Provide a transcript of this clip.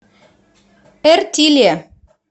эртиле